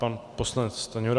Pan poslanec Stanjura.